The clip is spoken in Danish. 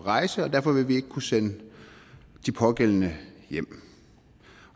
rejse og derfor vil vi ikke kunne sende de pågældende hjem